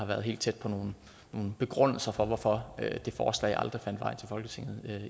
var helt tæt på nogle begrundelser for hvorfor det forslag aldrig fandt vej til folketinget